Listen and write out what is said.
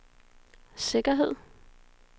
sikkerhed